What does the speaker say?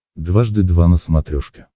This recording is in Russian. дважды два на смотрешке